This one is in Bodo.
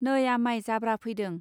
नै' आमाय जाब्रा फैदों.